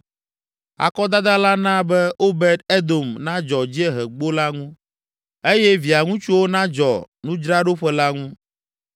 Akɔdada la na be Obed Edom nadzɔ Dziehegbo la ŋu eye via ŋutsuwo nadzɔ nudzraɖoƒe la ŋu,